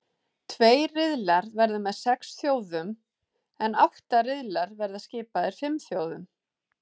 Tveir riðlar verða með sex þjóðum en átta riðlar verða skipaðir fimm þjóðum.